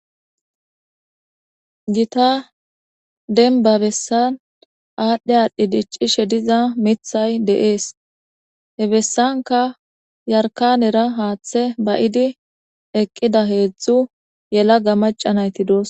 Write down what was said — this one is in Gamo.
Gita denbabessan aadhdhe aadhdhi diccishe diza mithay deees he bessanka yarkanera haaththe ba7idi eqqida heedzdzu yela ga macanayti doos